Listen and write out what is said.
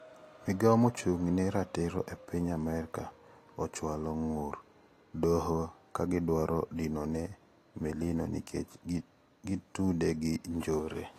Migao mochung`ne ratiro epiny Amerika ochwalo ng`ur e doho kagidwaro dinone melino nikech gitude gi njore.